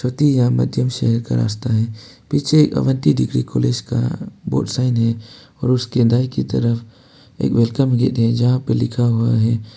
शहर का रास्ता है पीछे अवंथि डिग्री कॉलेज का बोर्ड साइन है और उसके दाये की तरफ एक वेलकम गेट जहां पे लिखा हुआ है --